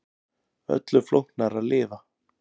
Öllu flóknara að lifa.